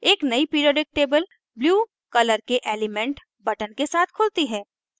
एक नयी periodic table blue color के elements buttons के साथ खुलती है